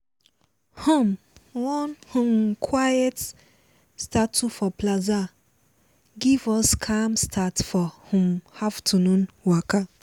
um one um quiet statue for plaza give us calm start for um afternoon waka.